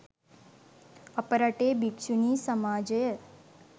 අප රටේ භික්‍ෂුණී සමාජය